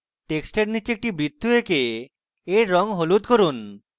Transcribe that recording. টেক্সটের নীচে একটি বৃত্ত আঁকুন এবং এর রঙ হলুদ করুন